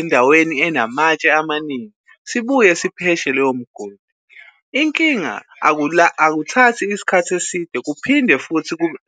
endaweni enamatshe amaningi sibuye sipheshe lowo mgodi. Inkinga akuthathi iskhathi eside kuphinde futhi kube.